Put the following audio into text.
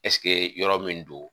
yɔrɔ min don